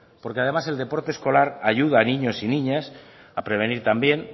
porque además el deporte escolar ayuda a niños y niñas a prevenir también